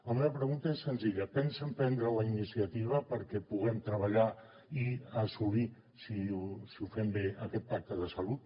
la meva pregunta és senzilla pensen prendre la iniciativa perquè puguem treballar i assolir si ho fem bé aquest pacte ha salut